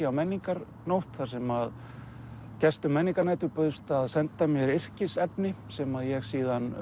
á menningarnótt þar sem að gestum menningarnætur bauðst að senda mér yrkisefni sem ég síðan